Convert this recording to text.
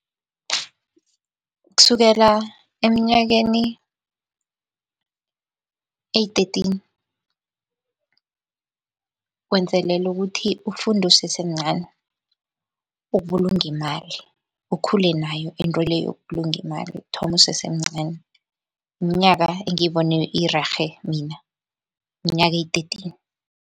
Kusukela eminyakeni eyi-thirteen. Wenzelela ukuthi ufunde usesemncani ukubulunga imali, ukhule nayo into le yokubulunga imali, uthome usesemncani. Minyaka engiyibone irerhe mina minyaka, eyi-thirteen.